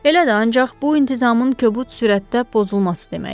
Elə də, ancaq bu intizamın kobud sürətdə pozulması deməkdir.